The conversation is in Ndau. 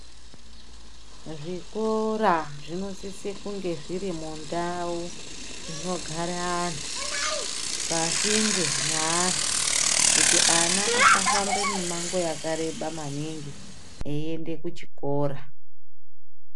Zvikora zvinosise kunge zviri mundau inogara anhu, pasinde neantu kuti ana asafambe mimango yakareba maningi eiende kuchikora.